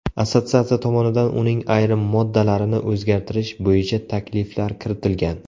Assotsiatsiya tomonidan uning ayrim moddalarini o‘zgartirish bo‘yicha takliflar kiritilgan.